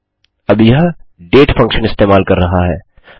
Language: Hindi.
अब यह डेट फंक्शन इस्तेमाल कर रहा है